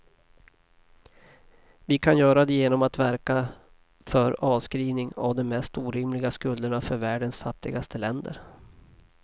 Vi kan göra det genom att verka för avskrivning av de mest orimliga skulderna för världens fattigaste länder.